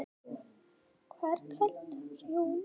hvað er kvöldprjónn